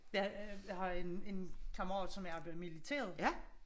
Jeg har en kammerat som har været i militæret